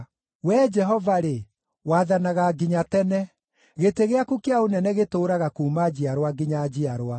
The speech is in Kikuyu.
Wee Jehova-rĩ, wathanaga nginya tene; gĩtĩ gĩaku kĩa ũnene gĩtũũraga kuuma njiarwa nginya njiarwa.